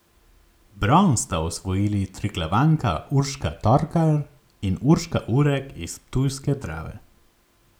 Bron sta osvojili Triglavanka Urška Torkar in Urška Urek iz ptujske Drave.